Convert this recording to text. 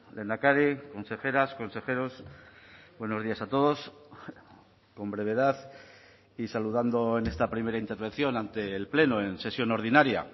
lehendakari consejeras consejeros buenos días a todos con brevedad y saludando en esta primera intervención ante el pleno en sesión ordinaria